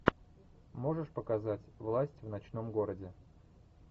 можешь показать власть в ночном городе